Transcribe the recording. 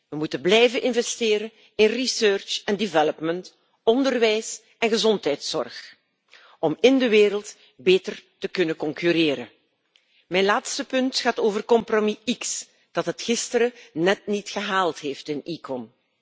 We moeten blijven investeren in onderzoek en ontwikkeling, onderwijs en gezondheidszorg om in de wereld beter te kunnen concurreren. Mijn laatste punt gaat over compromis X, dat het gisteren net niet gehaald heeft in ECON.